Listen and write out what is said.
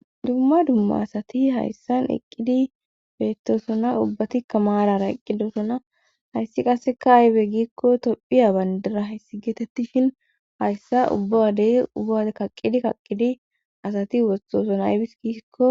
dumma dumma asati hayssan eqqidi beettosona ubbatikka maarara eqqidosona hayssi qasseka aybe gikko tophiya bandira hessi getettifhin hayssa ubbawadey ubbaode kaqqidi kaqqidi asati wossoson aybis gisikko